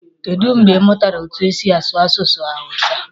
kedụ mgbe ị mụtara etu e si asu asụsụ hawụsa?